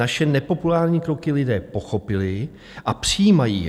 Naše nepopulární kroky lidé pochopili a přijímají je.